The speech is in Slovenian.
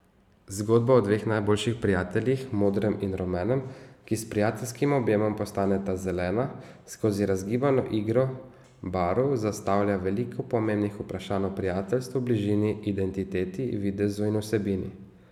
Zgodba o dveh najboljših prijateljih, modrem in rumenem, ki s prijateljskim objemom postaneta zelena, skozi razgibano igro barv zastavlja veliko pomembnih vprašanj o prijateljstvu, bližini, identiteti, videzu in vsebini.